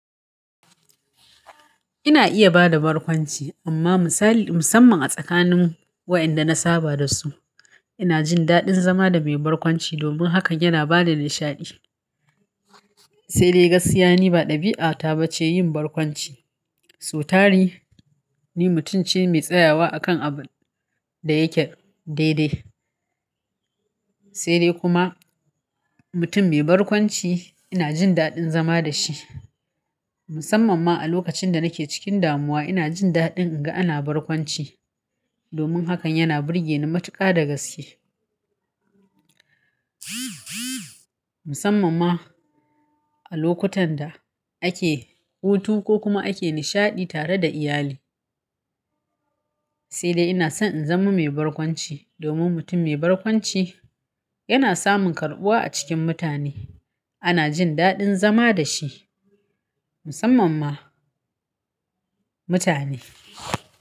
Ina iya bada barkwanci amma misali, musamman a tsakanin wa inda na saba da su. Ina jin daɗin zama da mai barkwanci domin hakan yana bada nishaɗi. Sai dai gaskiya ne ba ɗabi'ata ba ce yin barkwanci. So tari ni mutunce mai tsayawa akan abun da yake daidai. Sai dai kuma mutum mai barkwanci ina jin daɗin zama da shi. Musamman ma a lokacin da nake cikin damuwa ina jin daɗin in ga ana barkwanci domin hakan yana burge ni matuƙa da gaske. Musamman ma a lokutan da ake hutu ko kuma ake nishaɗi tare da iyali. Sai dai ina son in zama mai barkwanci domin mutum mai barkwanci yana samun karɓuwa a cikin mutane. Ana jin daɗin zama da shi. Musamman ma mutane.